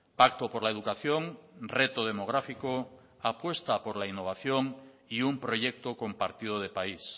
pacto por la educación reto demográfico apuesta por la innovación y un proyecto compartido de país